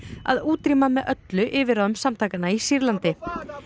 að útrýma með öllu yfirráðum samtakanna í Sýrlandi